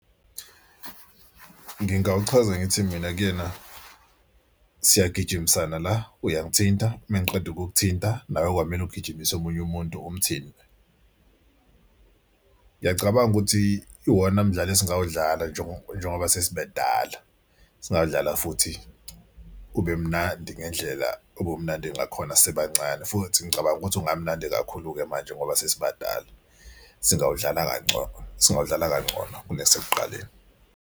Ngingawuchaza ngithi mina kuyena siyagijimisana la uyangithinta uma ngiqeda ukukuthinta nawe kwamele ugijimise omunye umuntu umthinte. Ngiyacabanga ukuthi iwona mdlalo esingawudlala njengoba sesibadala singawudlala futhi ube mnandi ngendlela ubumnandi ngakhona sisebancane futhi ngicabanga ukuthi ungamnandi kakhulu-ke manje ngoba sesibadala. Singawudlanga kangcono, singawudlala kangcono kunasekuqaleni.